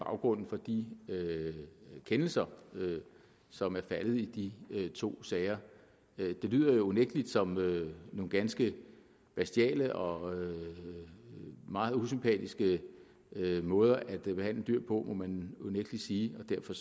baggrunden for de kendelser som er faldet i de to sager det lyder jo unægtelig som nogle ganske bestialske og meget usympatiske måder at behandle dyr på må man unægtelig sige derfor